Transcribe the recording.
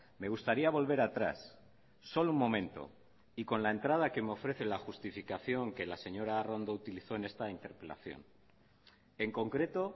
me gustaría volver atrás solo un momento y con la entrada que me ofrece la justificación que la señora arrondo utilizó en esta interpelación en concreto